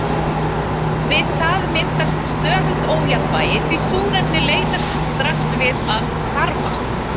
við það myndast „stöðugt ójafnvægi“ því súrefnið leitast strax við að hvarfast